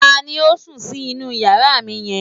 Ta ni ó sùn sí inú yàrá mi yẹn?